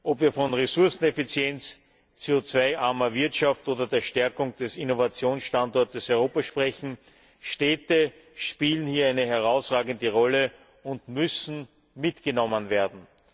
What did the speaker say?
Ob wir von Ressourceneffizienz, CO 2 armer Wirtschaft oder der Stärkung des Innovationsstandorts Europa sprechen Städte spielen hier eine herausragende Rolle und müssen mitgenommen werden.